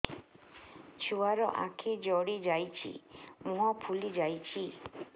ଛୁଆର ଆଖି ଜଡ଼ି ଯାଉଛି ମୁହଁ ଫୁଲି ଯାଇଛି